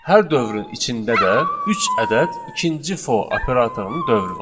Hər dövrün içində də üç ədəd ikinci for operatorunun dövrü var.